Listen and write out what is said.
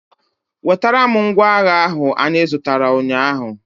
Wetara m ngwa agha ahụ anyị zụtara ụnyaahụ!